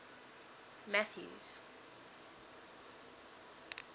mathews